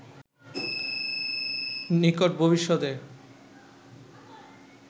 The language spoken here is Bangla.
নিকট ভবিষ্যতে